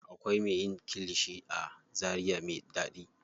Akwai me yin kilishi a zaria me ɗaɗi.